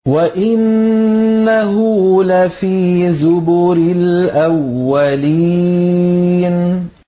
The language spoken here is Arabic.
وَإِنَّهُ لَفِي زُبُرِ الْأَوَّلِينَ